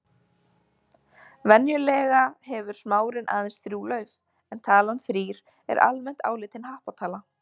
Venjulega hefur smárinn aðeins þrjú lauf en talan þrír er almennt álitin happatala.